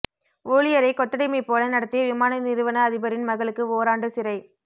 ஊழியரை கொத்தடிமை போல நடத்திய விமான நிறுவன அதிபரின் மகளுக்கு ஓராண்டு சிறை